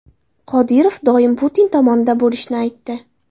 Qodirov doim Putin tomonida bo‘lishini aytdi.